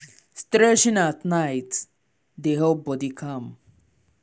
stretching at night dey help body calm.